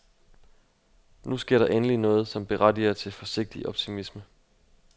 Nu sker der endelig noget, som berettiger til forsigtig optimisme.